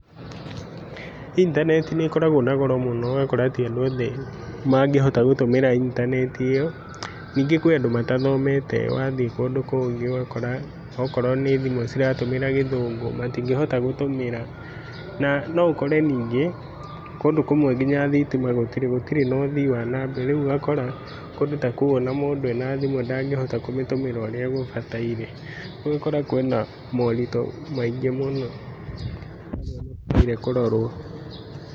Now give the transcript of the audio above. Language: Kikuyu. Intaneti nĩ koragwo na goro mũno ũgakora atĩ andũ mangĩhota gũtũmĩra intaneti ĩyo ningĩ nĩ kũrĩ andũ matathomete, wathiĩ kũndũ kũngĩ okorwo thimũ ĩratũmĩra gĩthũngũ ũgakora ndangĩhota gũtũmĩra na no ũkore ningĩ kũndũ kũmwe nginya thitima gũtirĩ na ũthii wa na mbere rĩu ũgakora kũndũ ta kũu ona mũndũ arĩ na thimũ ndangĩhota gũtũmĩra ũrĩa gũbataire ũgagĩkora kwĩna moritũ maingĩ mũno magĩrĩrwo kũrorwo.